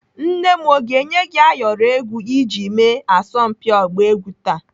Nne m ọ ga-enye gị ayọrọ egwu iji mee asọmpi ọgba egwu taa?